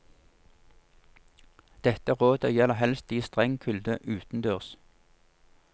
Dette rådet gjelder helst i streng kulde utendørs.